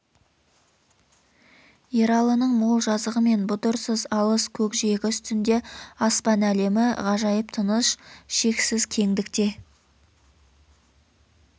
ералының мол жазығы мен бұдырсыз алыс көкжиегі үстінде аспан әлемі ғажайып тыныш шексіз кеңдікте